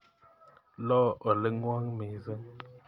Lo oling'wong' missing'.